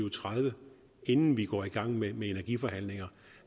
og tredive inden vi går i gang med energiforhandlinger